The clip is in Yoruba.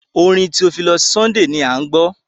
Orin Theophilus Sunday à ń gbọ́.